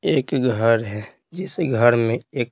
एक घर है जिस घर में एक--